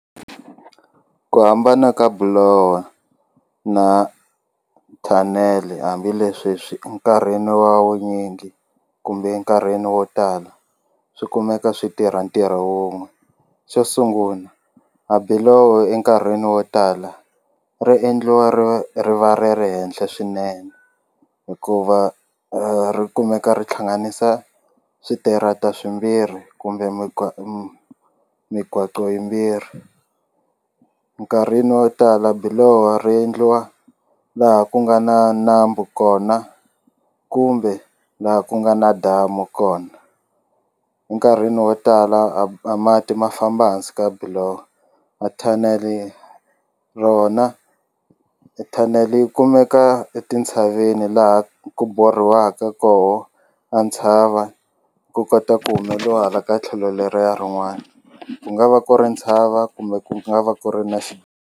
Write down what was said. Ku hambana ka bulowha na thanele hambileswi swi nkarhini wa wunyingi kumbe enkarhini wo tala swi kumeka swi tirha ntirho wun'we xo sungula a biloho enkarhini wo tala ri endliwa ri va ri va ri ri henhla swinene hikuva ri kumeka ri tlhanganisa switirata swimbirhi kumbe yimbirhi nkarhini wo tala biloho ri endliwa laha ku nga na nambu kona kumbe laha ku nga na damu kona enkarhini wo tala a a mati ma famba hansi ka biloho a thanele rona thanele yi kumeka etintshaveni laha ku borhiwaka koho a ntshava ku kota ku humeliwa hala ka tlhelo leriya rin'wana ku nga va ku ri ntshava kumbe ku nga va ku ri na .